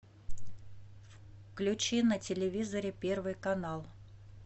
включи на телевизоре первый канал